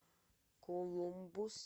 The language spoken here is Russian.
колумбус